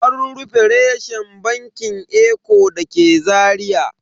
An rufe reshen bankin eco da ke Zaria.